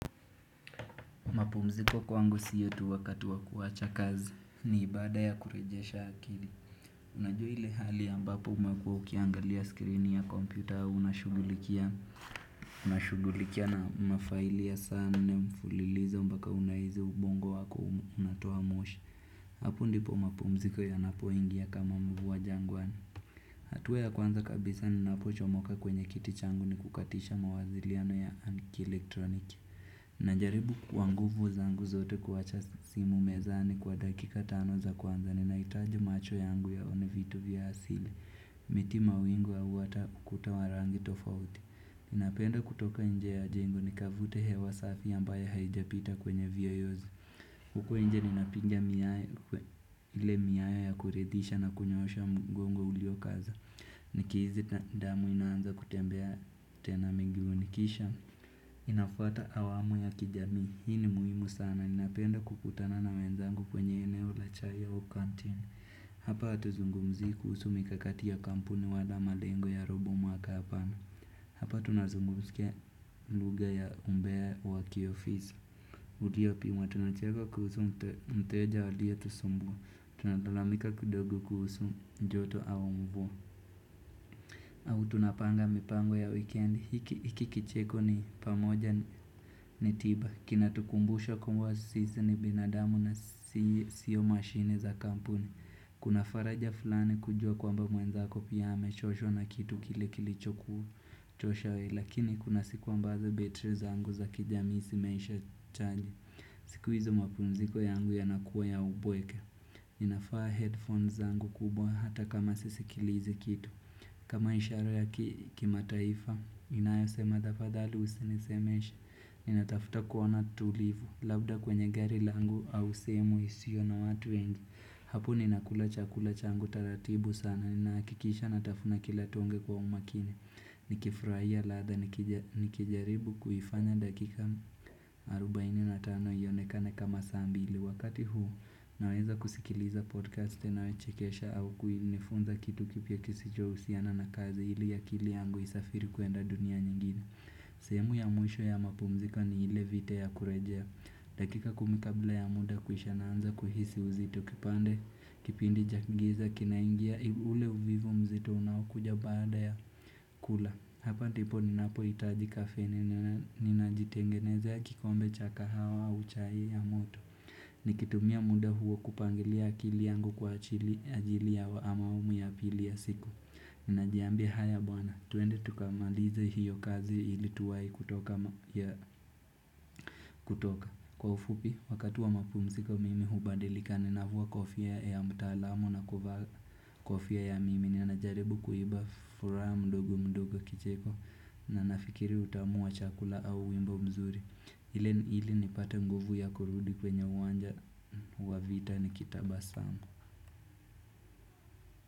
Mapumziko kwangu sio tuu wakati wa kuwacha kazi ni baada ya kurejesha akili Unajua hili hali ya ambapo umekuwa ukiangalia screen ya kompyuta au una shughulikia na mafaili sana mfulilizo mbaka unahizi ubongo wako unatoa moshi Hapo ndipo mapumziko yanapo ingia kama mvua jangwani hatua ya kwanza kabisa ninapo chomoka kwenye kiti changu ni kukatisha mawaziliano ya ki elektroniki na jaribu kwa nguvu zangu zote kuacha simu mezani kwa dakika tano za kwanza Nina itaji macho yangu ya one vitu vya asili miti mawingu au ata ukuta wa rangi tofauti Inapenda kutoka nje ya jengo nikavute hewa safi ambayo haijapita kwenye viyoyozi uko nje nina piga ile miayo ya kuridisha na kunyosha mgongo ulio kaza Niki hizi damu inaanza kutembea tena mingi unikisha Inafuata awamu ya kijami, hii ni muhimu sana, ninapo enda kukutana na wenzangu kwenye eneo la chai su canteen Hapa hatu zungumzii kuhusu mikakati ya kampuni wala malengo ya robu mwaka hapana Hapa tuna zungumzia lugha ya umbea wa ki ofisi Ndiyo pia tunacheka kuhusu mteja alio tusumbua Tunatalamika kidogo kuhusu joto au mvua. Au tunapanga mipango ya wikendi, hiki kicheko ni pamoja ni tiba, kinatukumbusha kuwa sisi ni binadamu na siyo mashine za kampuni Kuna faraja fulani kujua kwamba mwenzako pia ame choshwa na kitu kile kilicho kuchosha wewe lakini kuna siku ambazo battery zangu za kijamii zinaisha charger siku hizo mpunziko yangu yanakuwa ya upweke ninavaa headphones zangu kubwa hata kama sisikilizi kitu kama ishara ya kima taifa inayo sema tafadhali usinisemeshe Nina tafuta kuona tulivu Labda kwenye gari langu au sehemu isiyo na watu wengi Hapu ninakula chakula changu taratibu sana Ninaakikisha ninatafuna kilatonge kwa umakini nikifurahia ladha nikijaribu kuhifanya dakika 45 hionekane kama saa mbili Wakati huu, naweza kusikiliza podcast tenawe chikesha au nifunza kitu kipia kisicho usiana na kazi ili ya kili yangu isafiri kuenda dunia nyingine. Sehemu ya mwisho ya mapumziko ni ile vita ya kurejea. Dakika kumi kabla ya mda kuisha naanza kuhisi uzito kipande kipindi cha giza kina ingia ule uvivu mzito unao kuja baada ya kula. Hapa ndipo ninapo itaji kafene ni najitengeneze ya kikombe cha kahawa au chai ya moto. Nikitumia mda huo kupangilia akili yangu kwa ajili ya awamu ya pili ya siku Nina jiambia haya bwana, twende tukamalize hiyo kazi ili tuwai kutoka Kwa ufupi, wakati wa mapumziko mimi hubadilika ninavua kofia ya mtaalamu na kuvaa kofia ya mimi Nina najaribu kuiba furahaa mdogo mdogo kicheko na nafikiri utamu wa chakula au wimbo mzuri Hili nipate nguvu ya kurudi kwenye uwanja wa vita niki tabasamu.